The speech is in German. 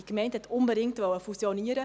Die Gemeinde wollte unbedingt fusionieren.